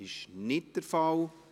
– Das ist nicht der Fall.